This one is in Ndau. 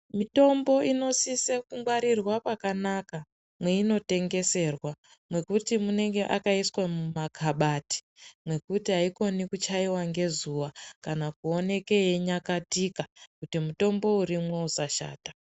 Mitombo inosisa kungwarirwa pakanaka meinotengeserwa nekuti inenge yakaiswa mumakhabadhi mekuti hatikoni kuchaiwa ngezuwa kana kuoneka yeinyakatika kuti mutombo urimo usashanda.